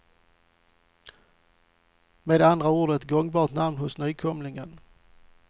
Med andra ord ett gångbart namn hos nykomlingen.